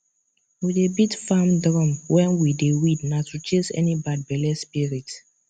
we dey beat farm drum when we dey weed na to chase any bad belle spirit